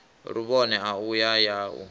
luvhone a u ya u